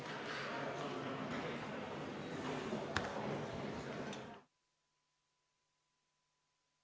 Istungi lõpp kell 10.09.